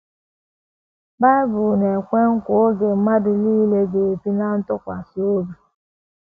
Bible na - ekwe nkwa oge mgbe mmadụ nile um ‘ ga - ebi um ná ntụkwasị obi ’